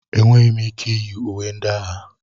Enweghị m ike iyi uwe ndị agha.